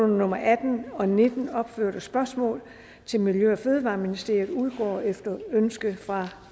nummer atten og nummer nitten opførte spørgsmål til miljø og fødevareministeren udgår efter ønske fra